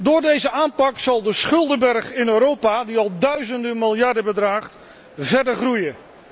Door deze aanpak zal de schuldenberg in Europa, die al duizenden miljarden bedraagt, verder groeien.